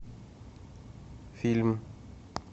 фильм